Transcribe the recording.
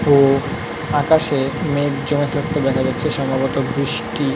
তো আকাশে মেঘ জমে থাকতে দেখা যাচ্ছে সম্ভবত বৃষ্টি--